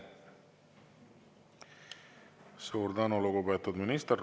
Suur tänu, lugupeetud minister!